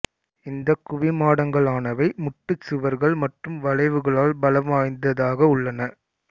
இந்தக் குவிமாடங்களானவை முட்டுச்சுவர்கள் மற்றும் வளைவுகளால் பலம் வாய்ந்ததாக உள்ளன